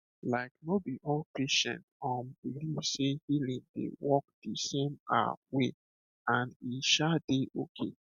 like no be all patient um believe sey healing dey work the same um way and e um dey okay